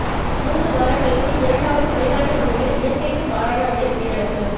மூன்று வாரங்களுக்குள் இரண்டாவது வெளிநாட்டு ஊழியர் இயற்கைக்கு மாறான வகையில் உயிரிழப்பு